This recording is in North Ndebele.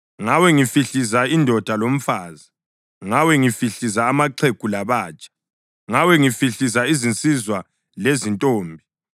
ngawe ngihlifiza indoda lomfazi, ngawe ngihlifiza amaxhegu labatsha, ngawe ngihlifiza izinsizwa lezintombi,